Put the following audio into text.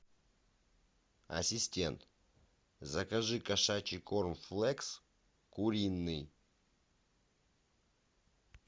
ассистент закажи кошачий корм флекс куриный